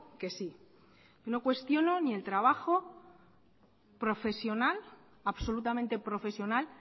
que sí yo no cuestiono ni el trabajo profesional absolutamente profesional